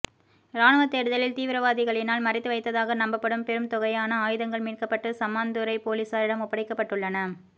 இராணுவ தேடுதலில் தீவிரவாதிகளினால் மறைத்து வைத்ததாக நம்பப்படும் பெரும் தொகையான ஆயுதங்கள் மீட்கப்பட்டு சம்மாந்துறை பொலிசாரிடம் ஒப்படைக்கப்பட்டுள்ளன